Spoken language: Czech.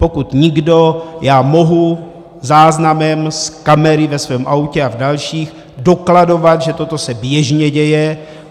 Pokud nikdo, já mohu záznamem z kamery ve svém autě a v dalších dokladovat, že toto se běžně děje.